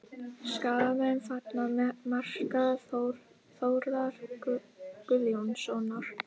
Skagamenn fagna marki Þórðar Guðjónssonar